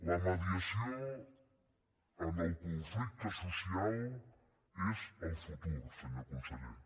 la mediació en el conflicte social és el futur senyor conseller